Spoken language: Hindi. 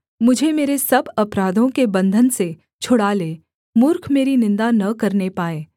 मुझे मेरे सब अपराधों के बन्धन से छुड़ा ले मूर्ख मेरी निन्दा न करने पाए